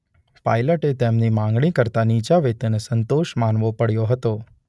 પાઇલટે તેમની માગણી કરતા નીચા વેતને સંતોષ માનવો પડ્યો હતો.